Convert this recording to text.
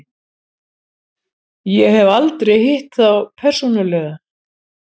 Ég hef aldrei hitt þá persónulega.